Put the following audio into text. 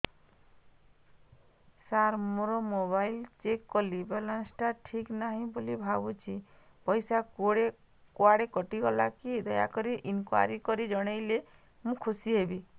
ସାର ମୁଁ ମୋର mobile check କଲି ବାଲାନ୍ସ ଟା ଠିକ ନାହିଁ ବୋଲି ଭାବୁଛି ପଇସା କୁଆଡେ କଟି ଗଲା କି ଦୟାକରି ଇନକ୍ୱାରି କରି ଜଣାଇଲେ ମୁଁ ଖୁସି ହେବି